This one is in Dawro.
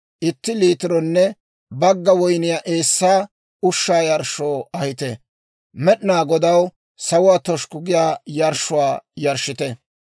itti liitironne bagga woyniyaa eessaa ushshaa yarshshoo ahite. Med'inaa Godaw sawuwaa toshukku giyaa yarshshuwaa yarshshite.